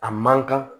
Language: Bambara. A man kan